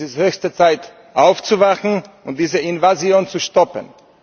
Es ist höchste Zeit, aufzuwachen und diese Invasion zu stoppen.